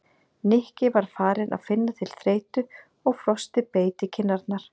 Nikki var farinn að finna til þreytu og frostið beit í kinn- arnar.